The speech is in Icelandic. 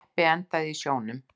Jeppi endaði í sjónum